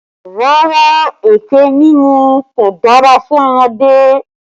Rárá, ẹkẹ mímu kò dára fún ọmọdé